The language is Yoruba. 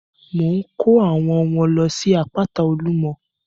Mò ń ko àwọn ọmọ lọ sí àpáta olumọ.